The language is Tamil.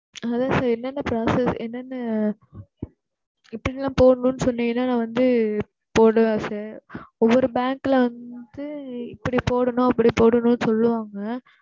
அதான் sir என்ன என்ன process என்ன என்ன இப்படி தான் போடணும்ன்னு சொன்னிங்கனா நான் வந்து போடலாம் sir ஒவ்வொரு பேங்க்ல வந்து இப்படி போடணும் அப்படி போடணும்ன்னு சொல்லுவாங்க.